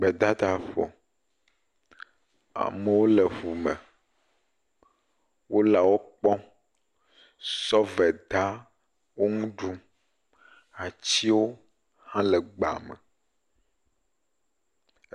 Gbedadaƒo. Amewo le ƒu me wole wokpɔm. Sɔveda wo ŋu ɖum. Atsiwo hã le gbea me.